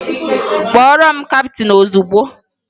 Kpọọrọ m kaptịn ozugbo!